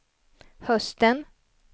hösten